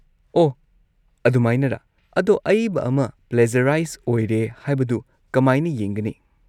ꯑꯣꯍ ꯑꯗꯨꯃꯥꯏꯅꯔꯥ! ꯑꯗꯣ ꯑꯏꯕ ꯑꯃ ꯄ꯭ꯂꯦꯖꯔꯥꯏꯁ ꯑꯣꯏꯔꯦ ꯍꯥꯏꯕꯗꯨ ꯀꯃꯥꯢꯅ ꯌꯦꯡꯒꯅꯤ?